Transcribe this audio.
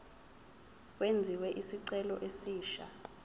kwenziwe isicelo esisha